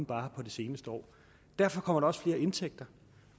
bare på det seneste år derfor kommer der også flere indtægter